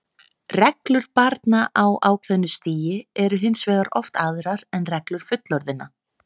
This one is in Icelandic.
Reglur barna á ákveðnu stigi eru hins vegar oft aðrar en reglur fullorðinna.